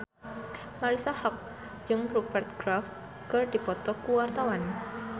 Marisa Haque jeung Rupert Graves keur dipoto ku wartawan